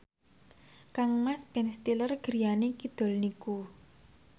kangmas Ben Stiller griyane kidul niku